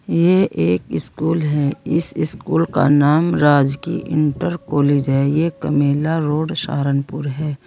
ये एक स्कूल है इस स्कूल का नाम राजकीय इंटर कॉलेज हैं यह कमेला रोड सहारनपुर है।